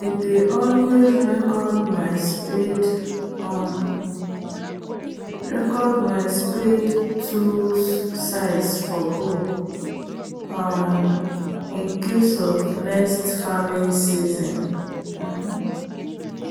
i dey always record my spade um tools size for book um incase of next farming season um